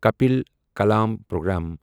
کپیٖلا کلام پروگرام